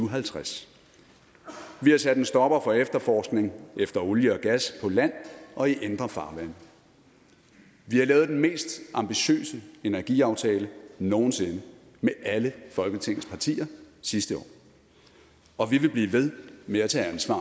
og halvtreds vi har sat en stopper for efterforskning efter olie og gas på land og i indre farvande vi har lavet den mest ambitiøse energiaftale nogen sinde med alle folketingets partier sidste år og vi vil blive ved med at tage ansvar